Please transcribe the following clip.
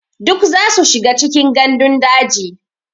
Duk zasu shiga cikin gandun daji.